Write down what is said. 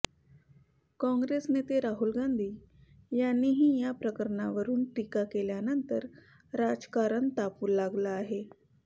काँग्रेस नेते राहुल गांधी यांनीही या प्रकरणावरून टीका केल्यानंतर राजकारण तापू लागलं आहे